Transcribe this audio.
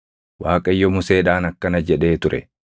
Waaqayyo Museedhaan akkana jedhee ture: